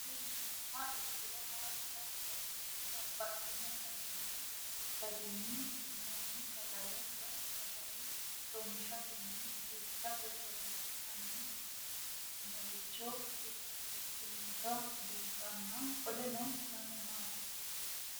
Kuni mati yinumoha ikiro hanja muroni babaxino daninina ragini intani sagale woyi sagali comishatenna bifisate horonsine'morich ikinota bunxana qoleno lame mati?